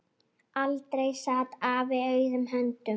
Aldrei sat afi auðum höndum.